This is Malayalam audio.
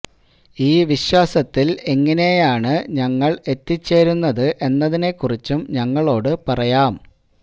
ഈ വിശ്വാസത്തിൽ എങ്ങിനെയാണ് ഞങ്ങൾ എത്തിച്ചേരുന്നത് എന്നതിനെ കുറിച്ചും ഞങ്ങളോട് പറയാം